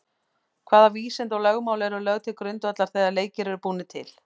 Hvaða vísindi og lögmál eru lögð til grundvallar þegar leikir eru búnir til?